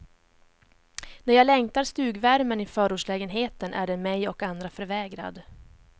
När jag längtar stugvärmen i förortslägenheten är den mig och andra förvägrad.